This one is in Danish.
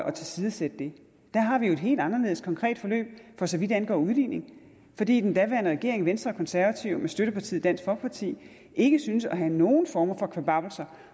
at tilsidesætte den der har vi jo et helt anderledes konkret forløb for så vidt angår udligningen fordi den daværende regering venstre konservative med støttepartiet dansk folkeparti ikke syntes at have nogen form for kvababbelser